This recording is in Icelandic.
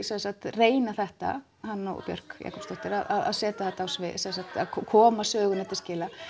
reyna þetta hann og Björk að koma sögunni til skila